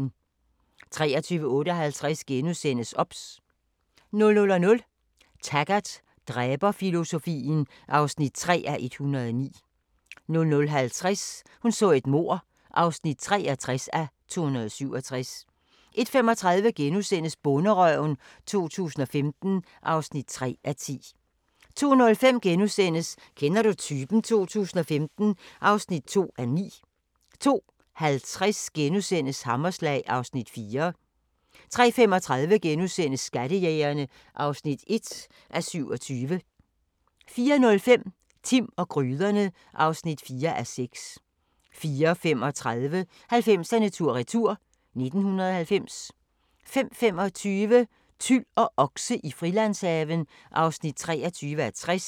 23:58: OBS * 00:00: Taggart: Dræberfilosofien (3:109) 00:50: Hun så et mord (63:267) 01:35: Bonderøven 2015 (3:10)* 02:05: Kender du typen? 2015 (2:9)* 02:50: Hammerslag (Afs. 4)* 03:35: Skattejægerne (1:27)* 04:05: Timm og gryderne (4:6) 04:35: 90'erne tur-retur: 1990 05:25: Tyl og okse i Frilandshaven (23:60)